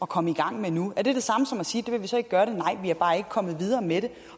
komme i gang med nu er det det samme som at sige at vi er bare ikke kommet videre med det